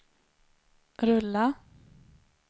rulla